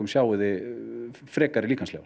sjáið þið frekari líkamsleifar